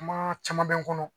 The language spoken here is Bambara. Kuma caman bɛ n kɔnɔ